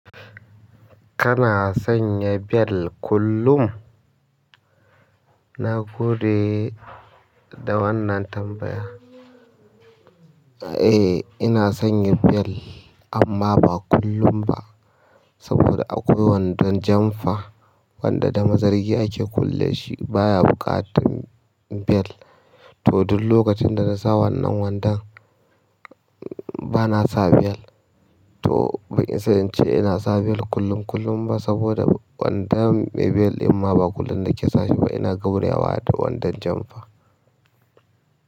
Kana sanya bel kullum? Na gode da wannan tambaya. Eh, ina sanya bel amma ba kullum ba saboda akwai wandon jamfa wanda da mazargi ake kulle shi baya buƙatar bel. To duk lokacin da na sa wannan wandon bana sa bel. To ban isa in ce ina sa bel kullum kullum ba saboda wandon mai bel ɗin ma ba kullum nake sashi ba ina gauraya wa da wandon jamfa.